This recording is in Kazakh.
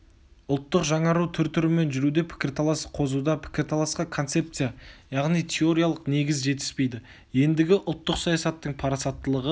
ұлттық жаңару түр-түрімен жүруде пікірталас қозуда пікірталасқа концепция яғни теориялық негіз жетіспейді ендігі ұлттық саясаттың парасаттылығы